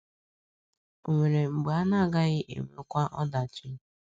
Ò nwere mgbe a na - agaghị enwekwa ọdachi?